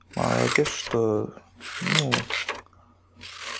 молодец что ну